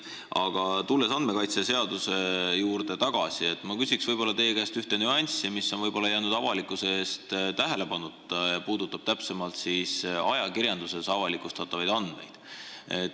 Aga tulles tagasi andmekaitseseaduse juurde, ma küsin teie käest ühte nüanssi, mis on võib-olla jäänud tähelepanuta, see puudutab ajakirjanduses avalikustatavaid andmeid.